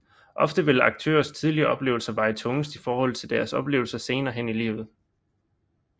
Ofte vil aktørens tidligere oplevelser veje tungest i forhold til deres oplevelser senere hen i livet